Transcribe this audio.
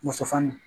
Muso fani